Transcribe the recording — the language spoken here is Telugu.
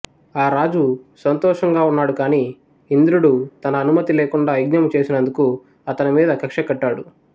ఆ రాజు సంతోషంగా ఉన్నాడు కాని ఇంద్రుడు తన అనుమతి లేకుండా యజ్ఞము చేసినందుకు అతడి మీద కక్షకట్టాడు